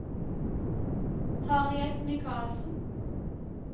Harriet Mikalsen